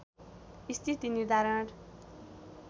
स्थिति निर्धारण